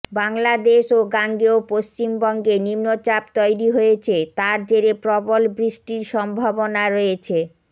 বাংলাদেশ ও গাঙ্গেয় পশ্চিমবঙ্গে নিম্নচাপ তৈরি হয়েছে তার জেরে প্রবল বৃষ্টির সম্ভাবনা রয়েছে